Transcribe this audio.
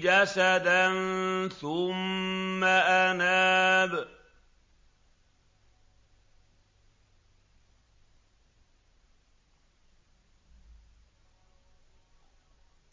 جَسَدًا ثُمَّ أَنَابَ